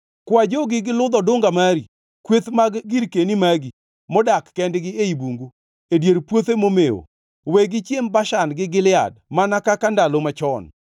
Kwa jogi gi ludh odunga mari, kweth mag girkeni magi, modak kendgi ei bungu, e dier puothe momewo. Wegi gichiem Bashan gi Gilead mana kaka ndalo machon.